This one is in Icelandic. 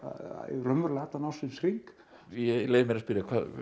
raunverulega allan ársins hring ég leyfi mér að spyrja